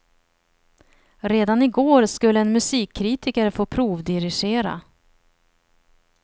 Redan i går skulle en musikkritiker få provdirigera.